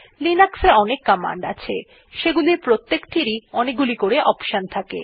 Linux এ অনেক command আছে যেগুলির প্রত্যেকটির অনেকগুলি অপশন আছে